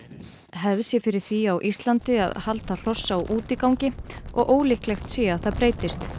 hefð sé fyrir því á Íslandi að halda hross á útigangi og ólíklegt sé að það breytist